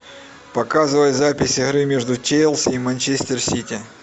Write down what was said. показывай запись игры между челси и манчестер сити